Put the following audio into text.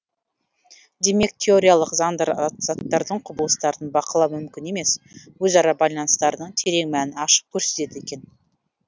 демек теориялық заңдар заттардың құбылыстардың бақылау мүмкін емес өзара байланыстарының терең мәнін ашып көрсетеді екен